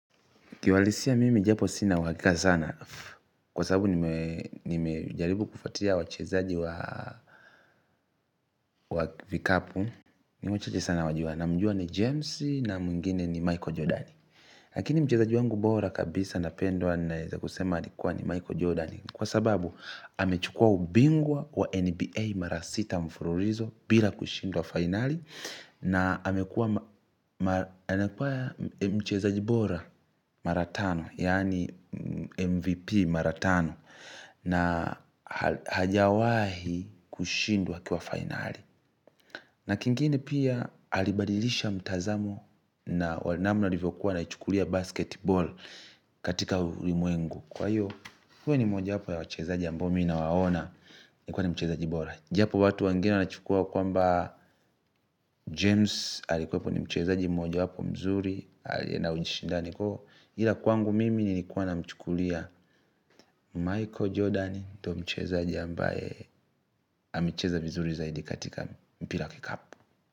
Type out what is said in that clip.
Ki uhalisia mimi japo sina uhakika sana. Kwasababu nimejaribu kufuatilia wachezaji wa vikapu ni wachache sana nawajua na mjua ni James na mwingine ni Michael Jordan. Lakini mchezaji wangu bora kabisa na pendwa naweza kusema alikuwa ni Michael Jordan. Kwa sababu amechukua ubingwa wa NBA mara sita mfunulizo bila kushindwa finali. Na amekua mchezaji bora mara tano yani mvp mara tano na hajawahi kushindwa akiwa fainali na kingine pia alibadilisha mtazamo na wale namna walivokuwa wana ichukulia basketball katika ulimwengu kwa hiyo huwa ni moja wapo ya wachezaji ambao mi na waona ni kuwa ni mchezaji bora japo watu wengine wanachukua kwamba james alikuepo ni mchezaji mmoja wapo mzuri alie na ushindani kwahiyo ila kwangu mimi nilikua namchukulia michael jordan ndio mchezaji ambae amecheza vizuri katika mpira wa kikapu.